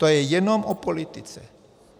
To je jenom o politice.